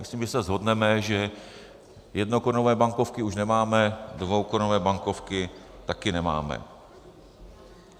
Myslím, že se shodneme, že jednokorunové bankovky už nemáme, dvoukorunové bankovky taky nemáme.